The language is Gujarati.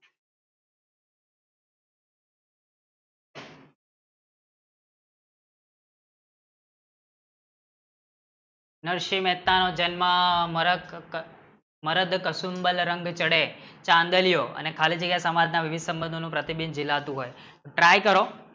નરસિંહ મહેતા નો જન્મ કસુંબલ રંગ ચડે ચાંદલિયો અને ખાલી જગ્યા સમાજના સંબંધોનું પ્રતિબિંબ ઝીલાતું હોય try કરો